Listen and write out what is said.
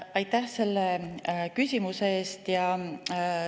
Aitäh selle küsimuse eest!